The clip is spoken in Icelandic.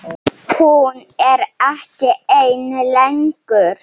Hún er ekki ein lengur.